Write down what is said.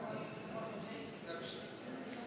Austatud Riigikogu!